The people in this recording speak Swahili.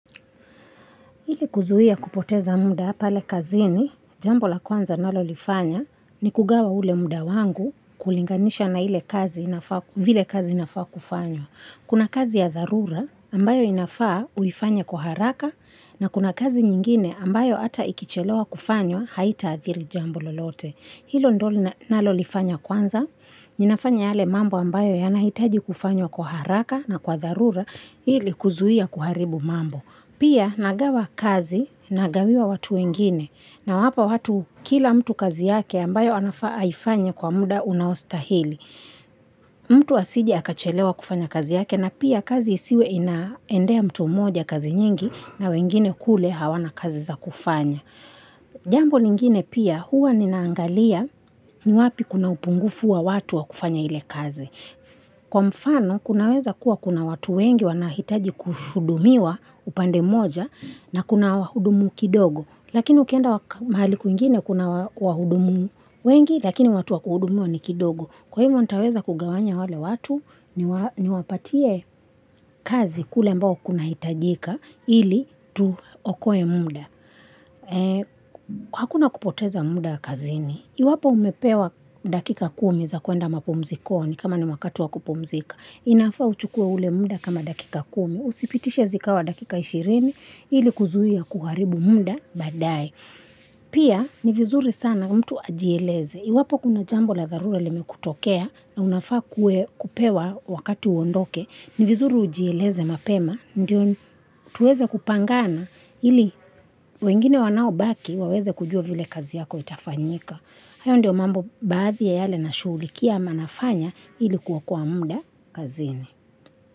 Ili kuzuia kupoteza muda pale kazini, jambo la kwanza nalo lifanya ni kugawa ule muda wangu kulinganisha na ile kazi inafaa kufanywa. Kuna kazi ya dharura ambayo inafaa uifanye kwa haraka na kuna kazi ingine ambayo hata ikichelewa kufanywa haitaadhiri jambo lolote. Hilo ndilo nalo lifanya kwanza, ninafanya yale mambo ambayo yanahitaji kufanywa kwa haraka na kwa dharura ili kuzuia kuharibu mambo. Pia nagawa kazi na gawia watu wengine na wapa watu kila mtu kazi yake ambayo anafaa aifanye kwa muda unaostahili. Mtu asiji akachelewa kufanya kazi yake na pia kazi isiwe inaendea mtu moja kazi nyingi na wengine kule hawana kazi za kufanya. Jambo lingine pia huwa ninaangalia ni wapi kuna upungufu wa watu wa kufanya ile kazi. Kwa mfano, kunaweza kuwa kuna watu wengi wanahitaji kuhudumiwa upande moja na kuna wahudumu kidogo. Lakini ukienda mahali kwingine kuna wahudumu wengi, lakini watu wakuhudumiwa ni kidogo. Kwa hivyo, nitaweza kugawanya wale watu ni wapatie kazi kule ambao kuna hitajika ili tu okoe muda. Hakuna kupoteza muda kazini. Iwapo umepewa dakika kumi za kuenda mapumuzikoni kama ni wakatu wakupumzika. Inafaa uchukua ule muna kama dakika kumi. Usipitishe zikawa dakika ishirini ili kuzuia kuharibu muda baada ye. Pia ni vizuri sana mtu ajieleze. Iwapo kuna jambo la dharula limekutokea na unafaa kupewa wakati uondoke. Ni vizuri ujieleze mapema. Ndio tuweze kupangana ili wengine wanao baki waweze kujua vile kazi yako itafanyika. Hayo ndiyo mambo baadhi ya yale na shughulikia ama nafanya ili kuokoa muda kazini.